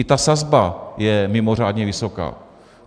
I ta sazba je mimořádně vysoká.